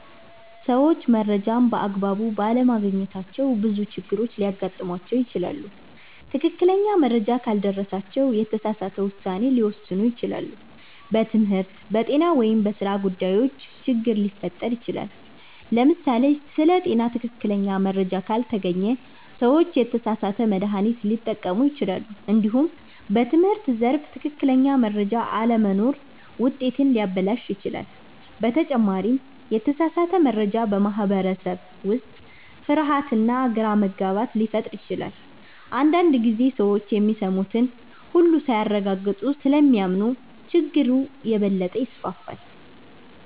ሰዎች መረጃን በአግባቡ ባለማግኘታቸው ብዙ ችግሮች ሊያጋጥሟቸው ይችላሉ። ትክክለኛ መረጃ ካልደረሳቸው የተሳሳተ ውሳኔ ሊወስኑ ይችላሉ፣ በትምህርት፣ በጤና ወይም በሥራ ጉዳይም ችግር ሊፈጠር ይችላል። ለምሳሌ ስለ ጤና ትክክለኛ መረጃ ካልተገኘ ሰዎች የተሳሳተ መድሃኒት ሊጠቀሙ ይችላሉ። እንዲሁም በትምህርት ዘርፍ ትክክለኛ መረጃ አለመኖር ውጤትን ሊያበላሽ ይችላል። በተጨማሪም የተሳሳተ መረጃ በማህበረሰብ ውስጥ ፍርሃትና ግራ መጋባት ሊፈጥር ይችላል። አንዳንድ ጊዜ ሰዎች የሚሰሙትን ሁሉ ሳያረጋግጡ ስለሚያምኑ ችግሩ የበለጠ ይስፋፋል።